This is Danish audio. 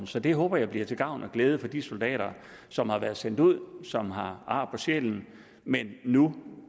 så det håber jeg bliver til gavn og glæde for de soldater som har været sendt ud og som har ar på sjælen men nu